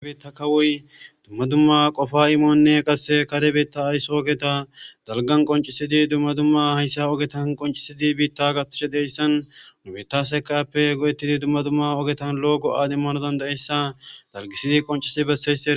Issi bitta kawoy dumma dumma aysso ogettadalgan qoncisidi dumma dumma qon sidi bitta gathishe deyssa ha ogettan lo77o go77a demanaw dandayeyssa